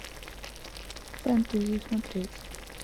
фэнтези смотреть